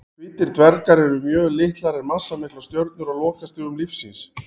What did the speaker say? Hvítir dvergar eru mjög litlar en massamiklar stjörnur á lokastigum lífs síns.